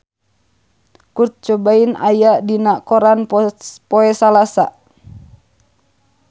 Kurt Cobain aya dina koran poe Salasa